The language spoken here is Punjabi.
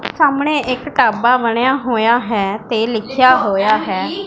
ਸਾਹਮਣੇ ਇੱਕ ਢਾਬਾ ਬਣਿਆ ਹੋਇਆ ਹੈ ਤੇ ਲਿਖਿਆ ਹੋਇਆ ਹੈ।